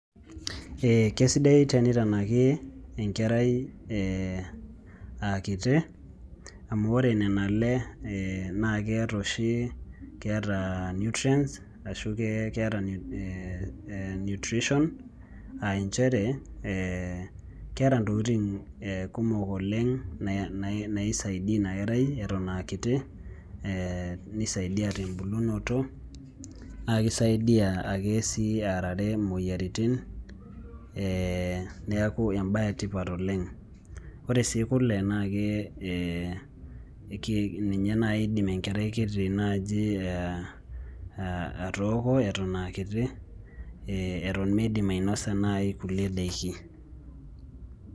Kesidae tenitanaki enkerai akiti, amu ore nena ale na keeta oshi, keeta nutrients, ashu keeta nutrition. Ah injere, keeta ntokiting kumok oleng naisaidia inakerai eton akiti, nisaidia tebulunoto, na kisaidia ake si arare moyiaritin, neeku ebae etipat oleng'. Ore si kule, nake, ninye nai idim enkerai kiti naaji atooko eton akiti, eton midim ainosa nai kulie daiki.